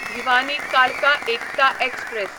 भिवानी कालका एकता एक्सप्रॅस